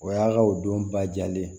O y'a ka o don ba jalen ye